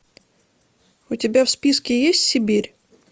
у тебя в списке есть сибирь